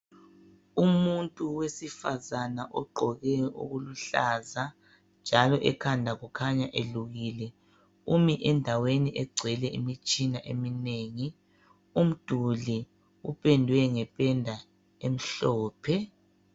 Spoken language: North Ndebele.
umuntu wesifazana ogqoe okuluhlaza njalo ekhanda kukhanya elukile umi endaweni egcwele imitshina eminengi umduli upendwe ngependa emhlophe